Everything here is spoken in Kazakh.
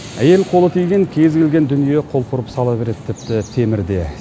әйел қолы тиген кез келген дүние құлпырып сала береді тіпті темірде